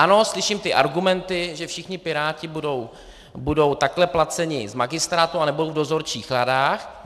Ano, slyším ty argumenty, že všichni piráti budou takhle placeni z magistrátu a nebudou v dozorčích radách.